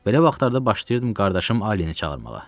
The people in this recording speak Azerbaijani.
Belə vaxtlarda başlayırdım qardaşım Alleni çağırmaq.